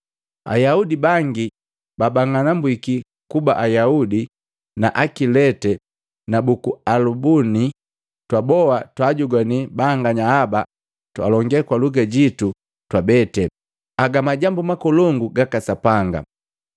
Ayaudi na bangi babang'anambwiki kuba Ayaudi, na Akilete na buku Alabuni twaboa twaajogwana banganya aba alonge kwa luga jitu twabete, aga majambu makolongu gaka Sapanga!”